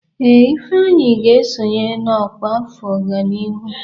Ee, Ifeanyị ga-esonye n'ọkwá afọ ọganihu.